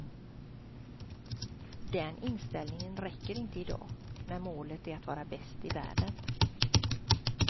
Den inställningen räcker inte i dag, när målet är att vara bäst i världen.